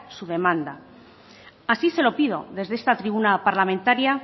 su demanda así se lo pido desde esta tribuna parlamentaria